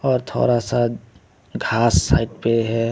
और थोड़ा सा घास साइड पे है।